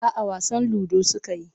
A'a wasan ludo suka yi.